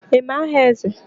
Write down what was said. Ị ma aha Eze?